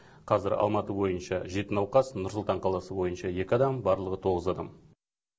қазір алматы бойынша жеті науқас нұр сұлтан қаласы бойынша екі адам барлығы тоғыз адам